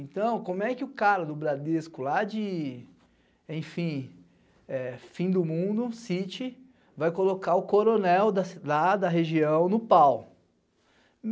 Então, como é que o cara do Bradesco lá de, enfim, fim do mundo, City, vai colocar o coronel lá da região no pau?